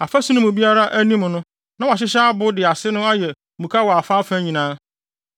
Afasu no mu biara anim no na wɔahyehyɛ abo de ase no ayɛ muka wɔ afaafa nyinaa.